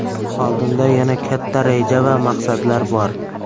Oldinda yana katta reja va maqsadlar bor.